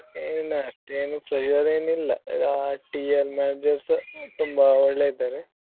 ಅಷ್ಟೇನ್ ಅಷ್ಟೇನೂ pressure ಏನಿಲ್ಲ TL Managers ತುಂಬಾ ಒಳ್ಳೆ ಇದ್ದಾರೆ.